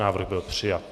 Návrh byl přijat.